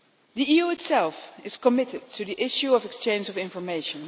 The EU itself is committed to the issue of the exchange of information.